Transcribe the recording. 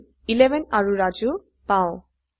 আমি 11 আৰু ৰাজু পাও